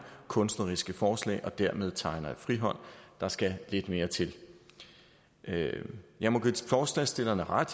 kunstneriske forslag og dermed tegner i fri hånd der skal lidt mere til jeg må give forslagsstillerne ret